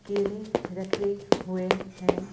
केले रखे हुए हैं ।